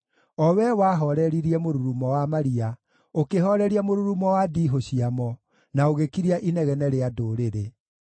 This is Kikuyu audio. o Wee wahooreririe mũrurumo wa maria, ũkĩhooreria mũrurumo wa ndiihũ ciamo, na ũgĩkiria inegene rĩa ndũrĩrĩ.